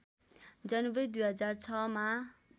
जनवरी २००६ मा